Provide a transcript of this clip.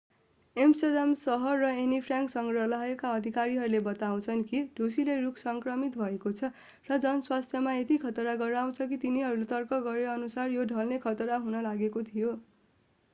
Amsterdam सहर र Anne Frank सङ्ग्रहालयका अधिकारीहरूले बताउँछन् कि ढुसीले रूख सङ्क्रमित भएको छ र जनस्वास्थ्यमा यति खतरा गराउँछ कि तिनीहरूले तर्क गरेअनुसार यो ढल्ने खतरा हुन लागेको थियो